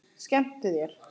Skemmtu þér.